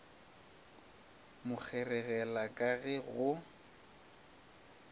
mo kgeregela ka ge go